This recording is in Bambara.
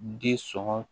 Den sɔ